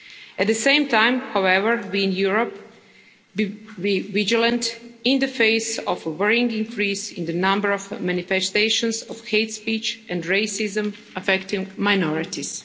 At the same time, however, we in Europe must be vigilant in the face of a worrying increase in the number of manifestations of hate speech and racism affecting minorities.